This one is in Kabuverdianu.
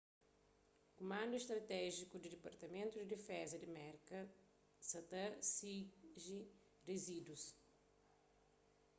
kumandu stratéjiku di dipartamentu di difeza di merka sa ta sigi rizídus